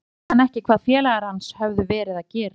Annars vissi hann ekki hvað félagar hans höfðu verið að gera.